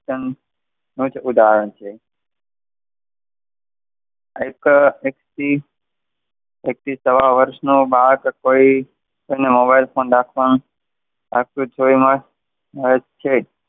ઉદાહરણ છે. એક થી સવા વર્ષનું બાળક હોય મોબાઈલ ફોન રાખવાનું .